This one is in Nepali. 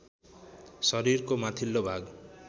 शरीरको माथिल्लो भाग